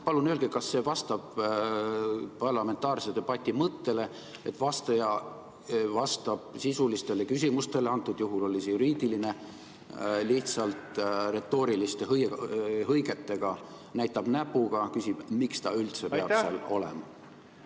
Palun öelge, kas see vastab parlamentaarse debati mõttele, et vastaja vastab sisulistele küsimustele, mis antud juhul oli juriidiline küsimus, lihtsalt retooriliste hõigetega, näitab näpuga, küsib, miks ta üldse seal peab olema.